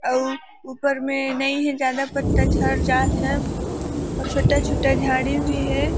अउ ऊपर में नहीं हे ज्यादा पत्ता झड़ जात हे अउ छोटा -छोटा झाड़ी भी हे।